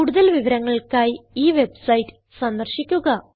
കൂടുതൽ വിവരങ്ങൾക്കായി ഈ വെബ്സൈറ്റ് സന്ദർശിക്കുക